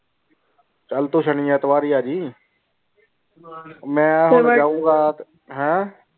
ਚਾਲ ਤੂੰ ਸ਼ਾਨੀ ਐਤਵਾਰ ਹੀ ਆਹ ਜੈ ਮੈਂ ਜਾਊਂਗਾ ਹੈਂ